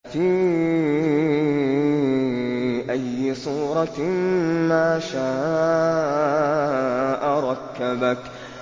فِي أَيِّ صُورَةٍ مَّا شَاءَ رَكَّبَكَ